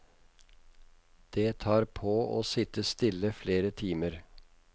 Det tar på å sitte stille flere timer.